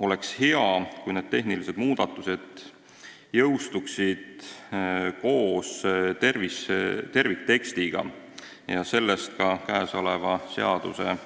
Oleks hea, kui need tehnilised muudatused jõustuksid koos terviktekstiga, sellest ka seaduseelnõu